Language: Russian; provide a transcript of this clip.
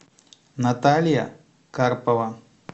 наталья карпова